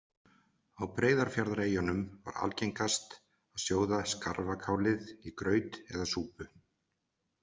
Á Breiðafjarðareyjunum var algengast að sjóða skarfakálið í graut eða súpu.